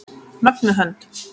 Mögnuð hönd.